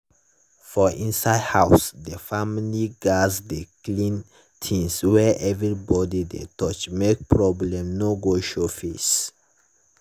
for inside house the family gats dey clean things wey everybody dey touch make problem no go show face.